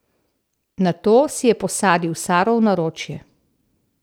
Nato si je posadil Saro v naročje.